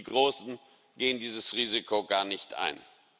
die großen gehen dieses Risiko gar nicht ein.